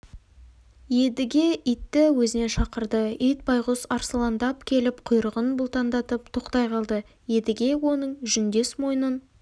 едіге итті өзіне шақырды ит байғұс арсалаңдап келіп құйрығын бұлтаңдатып тоқтай қалды едіге оның жүндес мойнын